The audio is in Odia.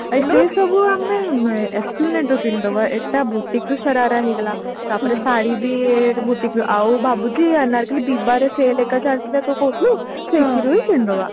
ସେସବୁ ଆମେ esplanade ରୁ କିଣିଦବା ଏଟା boutique ରୁ ଶରାରା ହେଇଗଲା ତାପରେ ଶାଢ଼ୀ ବି boutique ରୁ ଆଉ ଭାବୁଛି ଅନାରକଲ୍ଲୀ ବିବାରେ sell ହେକା ଚାଲିଛି ନା ତୁ କହୁଥିଲୁ ସେଇଥିରୁ ବି କିଣିଦେବା